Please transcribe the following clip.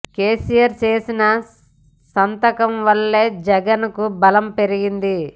కేసీఆర్ చేసిన సంతకం వల్లే జగన్ కు బలం పెరిగింది